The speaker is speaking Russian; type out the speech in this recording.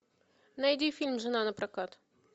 найди фильм жена напрокат